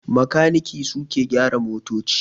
makaniki suke ke gyara motoci